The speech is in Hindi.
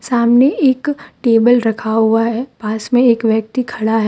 सामने एक टेबल रखा हुआ है पास में एक व्यक्ति खड़ा है।